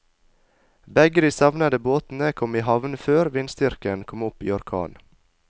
Begge de savnede båtene kom i havn før vindstyrken kom opp i orkan.